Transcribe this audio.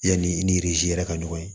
Yanni i ni yɛrɛ ka ɲɔgɔn ye